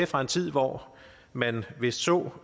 fra en tid hvor må man vist så